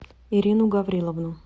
ирину гавриловну